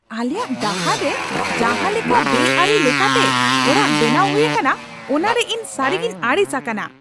ᱟᱞᱮᱭᱟᱜ ᱰᱟᱦᱟᱨ ᱨᱮ ᱡᱟᱦᱟᱸ ᱞᱮᱠᱟ ᱵᱮᱼᱟᱹᱨᱤ ᱞᱮᱠᱟ ᱛᱮ ᱚᱲᱟᱜ ᱵᱮᱱᱟᱣ ᱦᱩᱭ ᱟᱠᱟᱱᱟ ᱚᱱᱟᱨᱮ ᱤᱧ ᱥᱟᱹᱨᱤᱜᱤᱧ ᱟᱹᱲᱤᱥ ᱟᱠᱟᱱᱟ ᱾